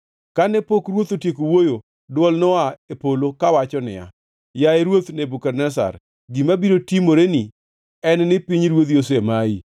Kane pok ruoth otieko wuoyo, dwol noa e polo kawacho niya, “Yaye ruoth Nebukadneza gima biro timoreni en ni pinyruodhi osemayi.